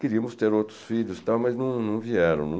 Queríamos ter outros filhos e tal, mas não vieram.